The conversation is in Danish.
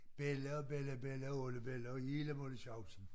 Belli og bellabella og oldebella og hele moletjavsen